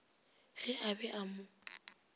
ge a be a mo